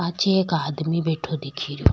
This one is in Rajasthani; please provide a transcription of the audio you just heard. पाछे एक आदमी बैठे दिख रो।